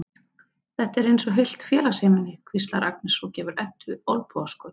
Þetta er eins og heilt félagsheimili, hvíslar Agnes og gefur Eddu olnbogaskot.